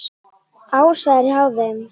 Ása er hjá þeim.